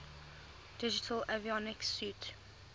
digital avionics suite